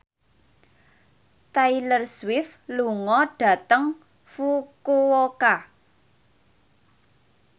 Taylor Swift lunga dhateng Fukuoka